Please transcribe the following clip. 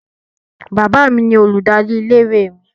Bàbá mi ni olùdarí ilé-ìwé mi.